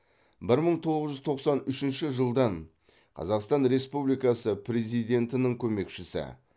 бір мың тоғыз жүз тоқсан үшінші жылдан қазақстан республикасы президентінің көмекшісі